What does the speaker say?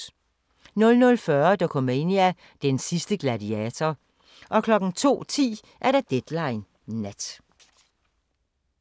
00:40: Dokumania: Den sidste gladiator 02:10: Deadline Nat